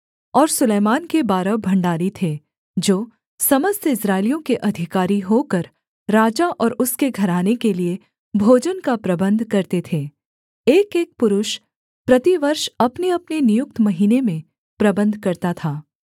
और सुलैमान के बारह भण्डारी थे जो समस्त इस्राएलियों के अधिकारी होकर राजा और उसके घराने के लिये भोजन का प्रबन्ध करते थे एकएक पुरुष प्रतिवर्ष अपनेअपने नियुक्त महीने में प्रबन्ध करता था